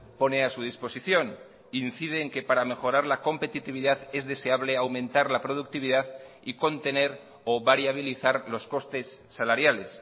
pone a su disposición incide en que para mejorar la competitividad es deseable aumentar la productividad y contener o variabilizar los costes salariales